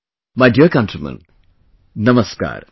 My dear countrymen, Namaskar